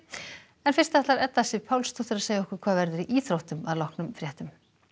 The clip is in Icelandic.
en þá ætlar Edda Sif Pálsdóttir að segja okkur hvað verður í íþróttum að loknum fréttum